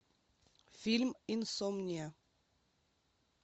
фильм инсомния